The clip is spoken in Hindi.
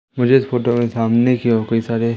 मुझे इस फोटो में सामने की ओर कोई सारे--